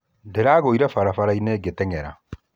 Ndĩragũire barabara-inĩ ngĩteng'era